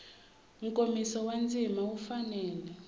nkomiso wa ndzima wu fanele